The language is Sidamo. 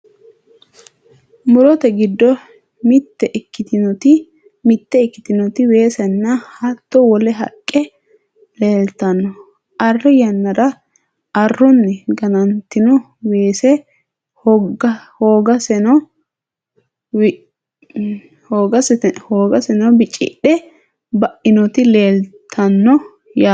murote giddo mitte ikkitinoti weesenna hattono wole haqqe leeltanno, arri yannara arrunni ganantino weese hogaseno bicidhe bainoti leeltanno yaate .